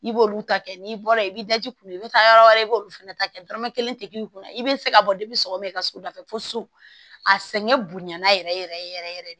I b'olu ta kɛ n'i bɔra yen i bɛ daji k'u i bɛ taa yɔrɔ wɛrɛ i b'olu fana ta kɛ dɔrɔmɛ kelen tɛ k'i kunna i bɛ se ka bɔ i ka so da fɛ fo so a sɛgɛn bonɲana yɛrɛ yɛrɛ de